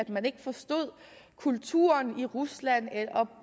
man ikke forstod kulturen i rusland